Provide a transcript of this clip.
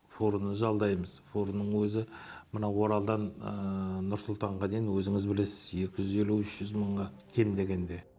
фураны жалдаймыз фураның өзі мына оралдан нұр сұлтанға дейін өзіңіз білесіз екі жүз елу үш жүз мыңға кем дегенде